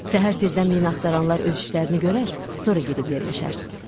Səhər tezdən minaxtaranlar öz işlərini görər, sonra gedib yerləşərsiz.